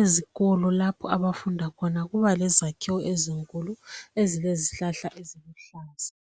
Ezikolo lapha abafunda khona. Kuba lezakhiwo ezinkulu, Ezba lezihlahla, eziluhlaza.